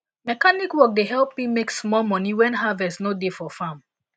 mechanic work dey help me make small moni when harvest no dey for farm